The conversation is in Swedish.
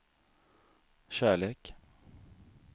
kärlek